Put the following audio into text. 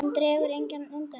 Hún dregur ekkert undan.